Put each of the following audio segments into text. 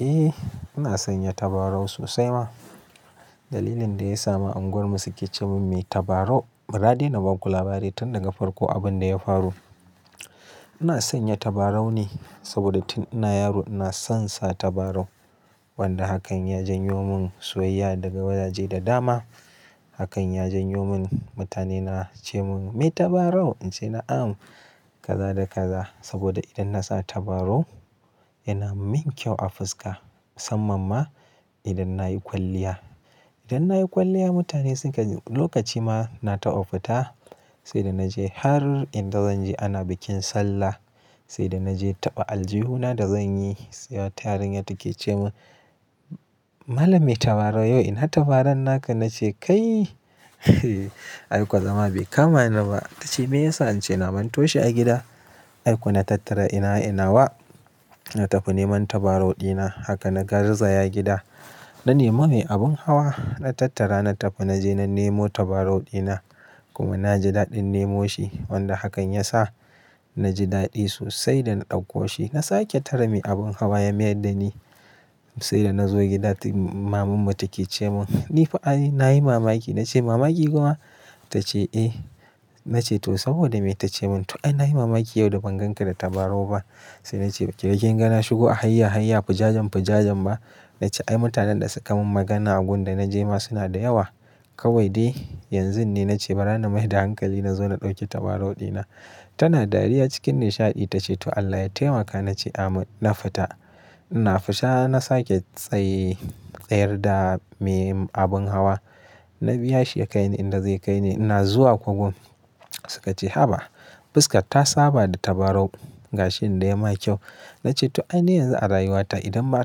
Eh ina sanya tabarau sosai ma. Dalilin da ya sa ma unguwar mu suke ceman me tabarau. Ba ra daina ba ku labari tun daga farko abin da ya faru. Ina sanya tabarau ne saboda tun ina yaro ina son sa tabarau. Wanda hakan ya janyo mun soyayya daga wajaje da dama. Hakan ya janyo mun mutane na ce mun me tabarau. Ince na am, kaza da kaza. Saboda idan na sa tabarau yana min kyau a fuska musamman ma idan nayi kwalliya. Idan nayi kwalliya mutane suka, lokaci ma na tafi fita, sai da naje har inda zanje ana bikin sallah. Sai da naje taɓa aljihu na da zanyi. Sai wata yarinya take ce mun "Mallam me tabarau yo ina tabaran naka?" Na ce "Kai" aikwa zama bai kama ni ba. Tace me yasa? Nace na mantoshi a gida. Ai ko na tattara ina ina wa. Na tafi neman tabarau dina. Haka na gar zaya gida. Na nema mai abun hawa, na tattara, na tafi, na je na nemo tabarau dina. Kuma na ji daɗin nemo shi. Wanda hakan ya sa na ji daɗi sosai da na ɗauko shi. Na sake tare mai abun hawa ya mayar da ni. Sai da na zo gida, timm, maman mu take ce mun "nifa ai na yi mamaki." Na ce "Mamaki kuwa?" Tace "Eh." Na ce to saboda me? Ta ce mun "to ai na yi mamaki yau da ban ganka da tabarau ba." Sai na ce ba kin ga na shigo a hayya hayya fujajen fujajen ba? Na ce ai mutanen da suka mun magana a gun da na je ma suna da yawa. Kawai dai yanzun ne na ce bara na mai da hankali na zo na ɗauki tabarau dina. Tana dariya cikin nishaɗi ta ce to Allah ya taimaka. Na ce ameen. Na fita. Ina fita na sake tsayi, tsayar da me abun hawa. Na biya shi ya kaini inda zai kaini. Ina zuwa kogon. Suka ce "Haba! Fuskar ta saba da tabarau." Gashi inda ya ma kyau. Na ce to ai ni yanzu a rayuwa ta idan ba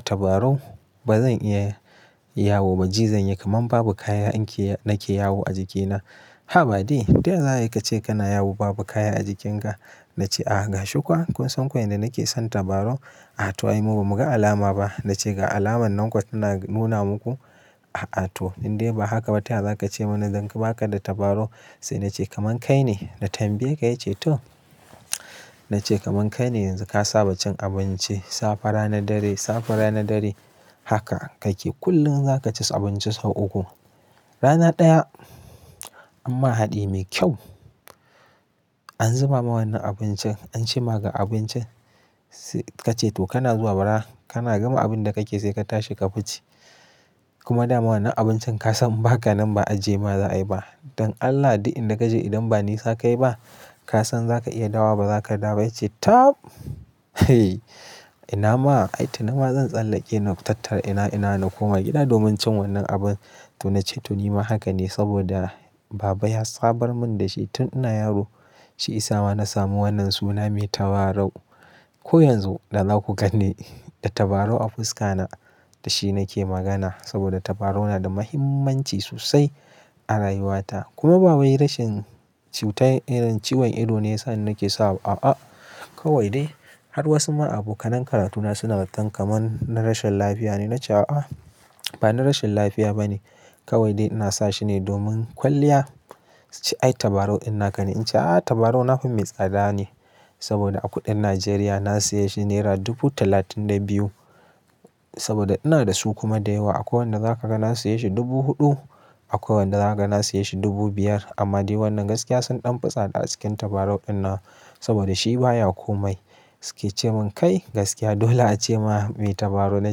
tabarau ba zan iya yawo ba. Ji zan yi kaman babu kaya in ke, na ke yawo a jikina. "Haba dai! To ya za ayi ka ce kana yawo babu kaya a jikinka?" Na ce a'a ga shi kuwa kun san ko yanda nake son tabarau. "A to ai mu bamu ga alama ba." Na ce ga alamar nan kuwa tana nuna muku. "A a to in dai ba haka ba to ya za ka ce mun idan ka baka da tabarau?" Sai na ce kaman kai ne. Na tambaye ka ya ce to. Na ce kaman kai ne yanzu ka saba cin abinci. Safa rana dare, safa rana dare. Haka kake. Kullum za ka ci abinci sau uku. Rana ɗaya amma haɗi mai kyau. An zuba ma wannan abincin, an ci ma ga abincin. Sai ka ce to kana zuwa bara, kana gama abun da kake sai ka tashi ka fice. Kuma dama wannan abincin ka san ba ka nan ba aji ma za a yi ba. Don Allah duk in da ka je idan ba nisa kai ba, ka san za ka iya dawa ba za ka da ba. Ya ce tab! Ina ma ai to ina ma zan tsallake na tattara inawa inawa na koma gida domin cin wannan abun. To na ce to ni ma haka ne saboda baba ya samar mun da shi tun ina yaro. Shi ya sa ma na samu wannan suna me tabarau. Ko yanzu da za ku ganni, da tabarau a fuska na da shi nake magana. Saboda tabarau na da muhimmanci sosai a rayuwa ta. Kuma ba wai rashin cutar irin ciwon ido ne ya sa nake sawa. A'a, kawai dai har wasu ma abokanen karatu na suna zaton kaman na rashin lafiya ne. Na ce a'a, ba na rashin lafiya ba ne. Kawai dai ina sa shi ne domin kwalliya. "Ai tabarau ina kana?" Ince a'a tabarau na fa mai tsada ne. Saboda a kuɗin Najeriya na siya shi naira dubu talatin da biyu. Saboda ina da su kuma da yawa. Akwai wanda za ka ga na siya shi dubu huɗu, akwai wanda za ka ga na siya shi dubu biyar. Amma dai wannan gaskiya sun ɗan fi tsada a cikin tabarau ina. Saboda shi baya komai. Suki ce mun kai gaskiya dala a ce ma me tabarau. Na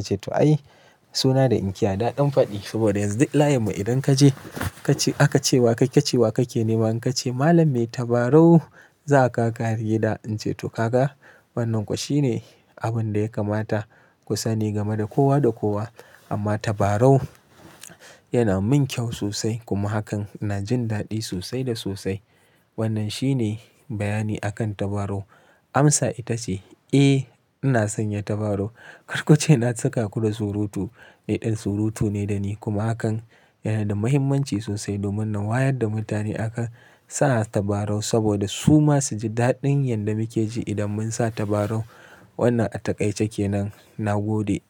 ce to ai suna da in ce ada ɗan faɗi. Saboda yanzu duk layin mu idan ka je, ka ci aka ce wa kai ka ci wa kake nema. Ka ce malam me tabarau za'a kawo ka har gida. Ince to ka ga wannan kuwa shi ne abun da ya kamata ku sani game da kowa da kowa. Amma tabarau yana min kyau sosai kuma hakan ina jin daɗi sosai da sosai. Wannan shi ne bayani akan tabarau. Amsa ita ce, eh ina sanya tabarau. Karku ce na cika ku da surutu. Ni ɗan surutu ne da ni kuma hakan yana da muhimmanci sosai domin na wayar da mutane aka sa tabarau saboda su ma su ji daɗin yadda muke ji idan mun sa tabarau. Wannan a taƙaice ke nan. Na gode.